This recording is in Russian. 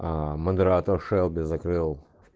модератор шелби закрыл